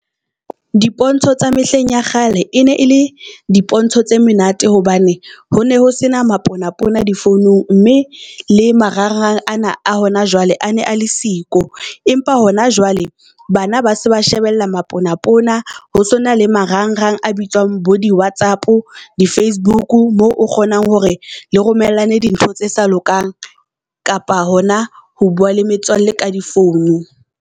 Dipontsho tsa mehleng ya kgale e ne e le dipontsho tse menate hobane ho ne ho sena mapona-pona di founung mme le marangrang ana a hona jwale a ne a le siko. Empa hona jwale bana ba se ba shebella mapona-pona, ho se hona le marang-rang a bitswang bo di Whatsapp, di-Facebook. Moo o kgonang hore le romellang di ntho tse sa lokang kapa hona ho bua le metswalle ka di founu.